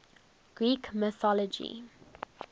greek mythology